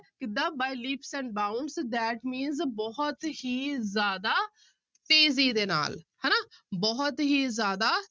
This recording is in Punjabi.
ਕਿੱਦਾਂ by leaps and bounds that means ਬਹੁਤ ਹੀ ਜ਼ਿਆਦਾ ਤੇਜ਼ੀ ਦੇ ਨਾਲ ਹਨਾ, ਬਹੁਤ ਹੀ ਜ਼ਿਆਦਾ